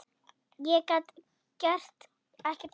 Ég gat ekkert gert.